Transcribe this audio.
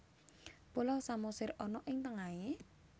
Pulau Samosir ana ing tengahe?